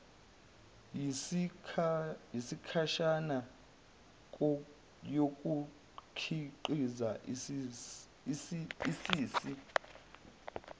yesikhashana yokukhiqiza isisi